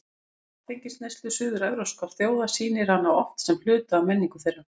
Ímyndin af áfengisneyslu suður-evrópskra þjóða sýnir hana oft sem hluta af menningu þeirra.